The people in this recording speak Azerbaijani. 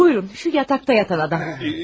Buyurun, şu yataqda yatan adam.